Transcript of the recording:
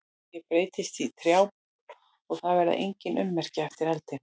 Ég breytist í trjábol og það verða engin ummerki eftir eldinn.